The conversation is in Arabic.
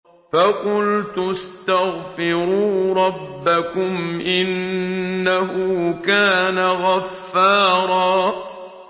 فَقُلْتُ اسْتَغْفِرُوا رَبَّكُمْ إِنَّهُ كَانَ غَفَّارًا